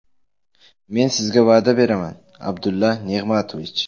Men sizga va’da beraman, Abdulla Nig‘matovich.